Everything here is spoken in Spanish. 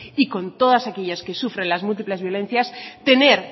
y con todas aquellas que sufren las múltiples violencias tener